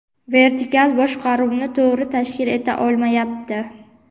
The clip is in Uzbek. vertikal boshqaruvni to‘g‘ri tashkil eta olmayapti.